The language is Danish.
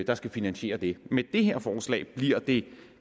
der skal finansiere det med det her forslag bliver det